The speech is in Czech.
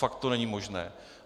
Fakt to není možné.